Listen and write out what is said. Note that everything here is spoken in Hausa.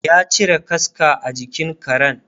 ya cire kaska a jikin Karen